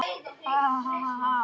Sama gildir um okkar gjafir.